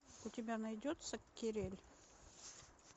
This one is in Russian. у тебя найдется кирель